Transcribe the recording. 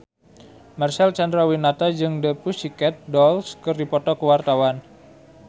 Marcel Chandrawinata jeung The Pussycat Dolls keur dipoto ku wartawan